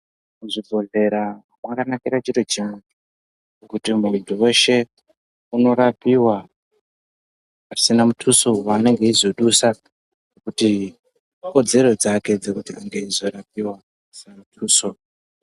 Muzvibhedhlera mwakanakire chiro chimwe kuti muntu weshe unorapiwa pasina muthuso waanenge eizodusa ngekuti ikodzero dzake dzekuti ange eizorapiwa pasina muthuso.